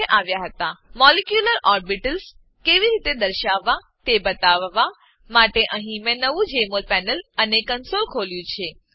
molecular orbitals molecular orbitals કેવી રીતે દર્શાવવા તે બતાવવા માટે અહીં મેં નવું જેમોલ પેનલ અને કંસોલ ખોલ્યું છે